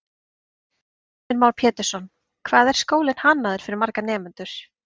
Heimir Már Pétursson: Hvað, hvað er skólinn hannaður fyrir marga nemendur?